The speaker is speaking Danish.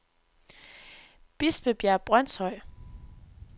Bispebjerg Brønshøj